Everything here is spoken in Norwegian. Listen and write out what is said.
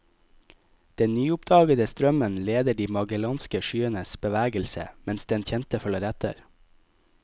Den nyoppdagede strømmen leder de magellanske skyenes bevegelse, mens den kjente følger etter.